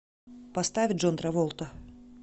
поставь джон траволта